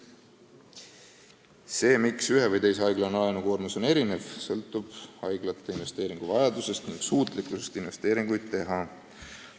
See, et haiglate laenukoormus on erinev, tuleneb haiglate erinevast investeeringuvajadusest ning suutlikkusest investeeringuid teha.